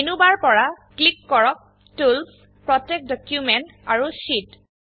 menu bar পৰা click কৰক tools protect document আৰু শীত